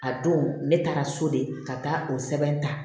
A don ne taara so de ka taa o sɛbɛn ta